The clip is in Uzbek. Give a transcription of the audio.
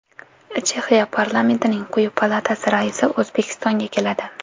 Chexiya parlamentining quyi palatasi raisi O‘zbekistonga keladi.